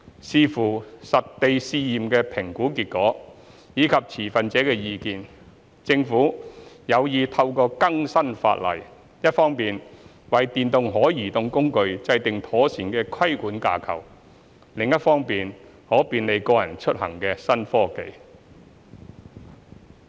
視乎實地試驗的評估結果及持份者的意見，政府有意透過更新法例，一方面為電動可移動工具制訂妥善的規管架構，另一方面便利個人出行的新科技。